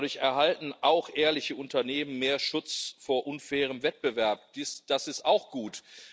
Dadurch erhalten auch ehrliche Unternehmen mehr Schutz vor unfairem Wettbewerb das ist auch gut.